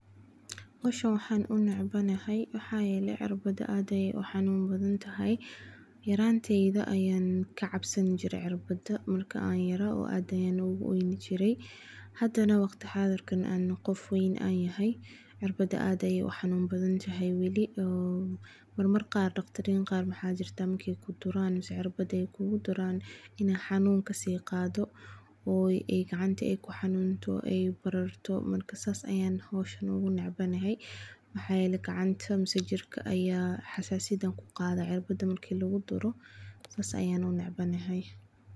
Hoshan waxan u necbanahay waxaa yele cirbaada aad ayey u xanun badantahay, yaranteyda ayan ka cabsoni jire cirbaada, marki an yara aad ayan ogu oyni jire hada waqti xadirkan cirbaada aad ayan u xanun badantahay weli mar mar qar daqtarin waxaa jirtaa marki kuduran mase cirbaad kugu duran xanun kasi qado ee gacanta ku xanunto, sas ayan howshan u necbahay, jirka aya xasasiyaad ku qadhaya sas ayan u necbahay.